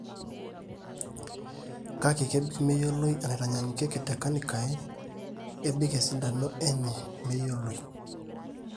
kake, kebik meyioloi enaitanyaanyukieki tecarnitine, ebik esidano enye meyioloi